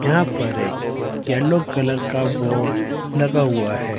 यहां पर एक येलो कलर का बोर्ड लगा हुआ है।